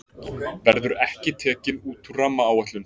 Verður ekki tekin út úr rammaáætlun